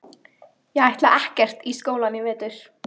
Ég ætla ekkert í skólann í vetur.